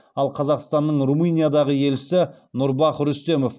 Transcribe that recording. ал қазақстанның румыниядағы елшісі нұрбах рүстемов